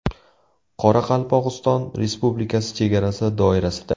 Qoraqalpog‘iston Respublikasi chegarasi doirasida.